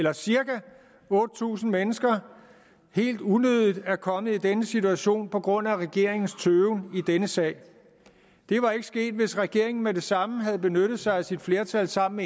at cirka otte tusind mennesker helt unødigt er kommet i denne situation på grund af regeringens tøven i denne sag det var ikke sket hvis regeringen med det samme havde benyttet sig af sit flertal sammen